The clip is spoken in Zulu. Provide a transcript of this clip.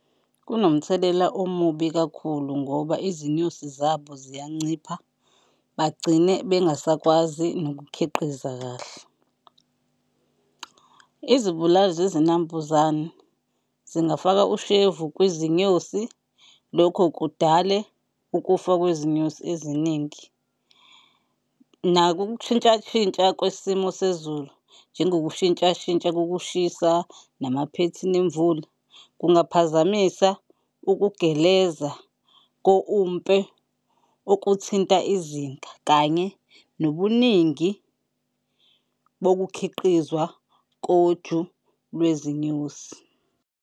Kunomthelela omubi kakhulu ngoba izinyosi zabo ziyancipha, bagcine bengasakwazi nokukhiqiza kahle. Izibulali zezinambuzane zingafaka ushevu kwizinyosi, lokho kudale ukufa kwezinyosi eziningi. Nako ukushintsha shintsha kwesimo sezulu, njengokushintsha shintsha kokushisa namaphethini emvula kungaphazamisa ukugeleza ko-umpe okuthinta izinga kanye nobuningi bokukhiqizwa koju lwezinyosi.